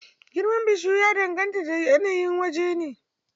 Girmar bishiyu ya dangata da yanayin waje.